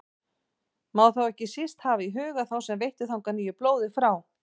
Má þá ekki síst hafa í huga þá sem veittu þangað nýju blóði frá